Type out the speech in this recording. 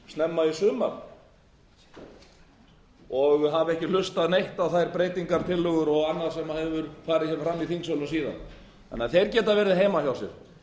snemma í sumar og hafa ekki hlustað neitt á þær breytingartillögur og annað sem hefur farið fram í þingsölum síðan þannig að þeir geta verið heima hjá sér en